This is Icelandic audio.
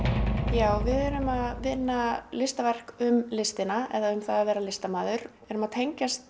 já við erum að vinna listaverk um listina eða það að vera listamaður við erum að tengjast